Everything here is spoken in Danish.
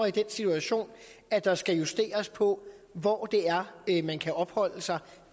i den situation at der skal justeres på hvor det er man kan opholde sig